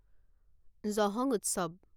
জহং উৎসৱ